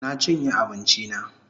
Na chinye abinchi na